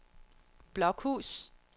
Blokhus